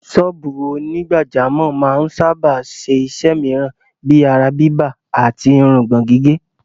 Sọ́ọ̀bù onígbàjámọ̀ máa ń sáábà ṣe iṣẹ́ mìíràn bíi ara-bíbà àti irùngbọ̀n-gígé.